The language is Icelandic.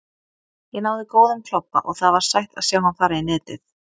Ég náði góðum klobba og það var sætt að sjá hann fara í netið.